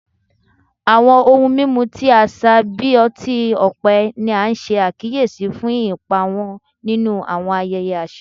Awọn ohun mimu ti aṣa bi ọti-ọpẹ ni a ṣe akiyesi fun ipa wọn ninu awọn ayẹyẹ aṣa